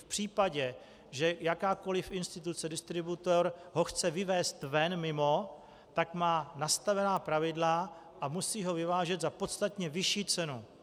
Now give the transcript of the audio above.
V případě, že jakákoliv instituce, distributor ho chce vyvézt ven mimo, tak má nastavená pravidla a musí ho vyvážet za podstatně vyšší cenu.